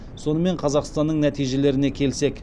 сонымен қазақстанның нәтижелеріне келсек